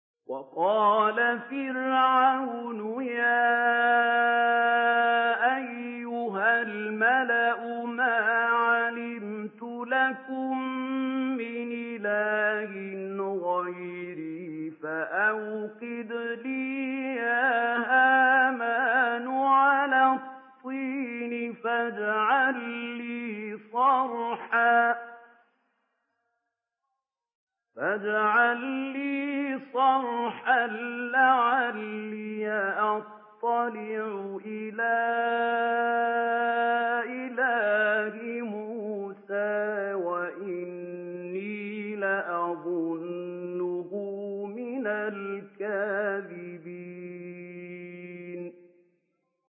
وَقَالَ فِرْعَوْنُ يَا أَيُّهَا الْمَلَأُ مَا عَلِمْتُ لَكُم مِّنْ إِلَٰهٍ غَيْرِي فَأَوْقِدْ لِي يَا هَامَانُ عَلَى الطِّينِ فَاجْعَل لِّي صَرْحًا لَّعَلِّي أَطَّلِعُ إِلَىٰ إِلَٰهِ مُوسَىٰ وَإِنِّي لَأَظُنُّهُ مِنَ الْكَاذِبِينَ